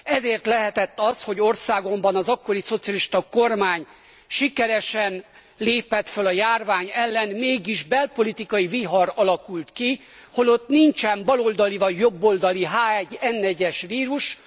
Ezért lehetett az, hogy országomban az akkori szocialista kormány sikeresen lépett föl a járvány ellen, mégis belpolitikai vihar alakult ki, holott nincsen baloldali, vagy jobboldali H1N1 es vírus.